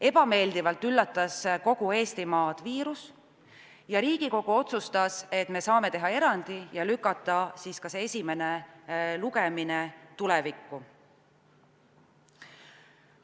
Ebameeldivalt üllatas kogu Eestimaad viirus ja Riigikogu otsustas, et me saame teha erandi ja lükata esimese lugemise tulevikku.